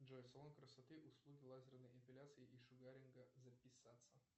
джой салон красоты услуги лазерной эпиляции и шугаринга записаться